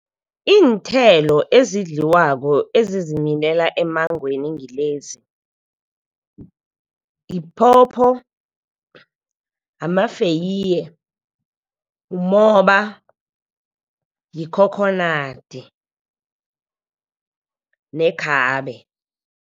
Iinthelo ezidliwako ezizimilela emmangweni ngilezi yiphopho, amafeya, umoba, yikhokhonadi nekhabe.